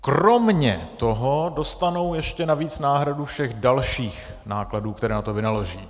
Kromě toho dostanou ještě navíc náhradu všech dalších nákladů, které na to vynaloží.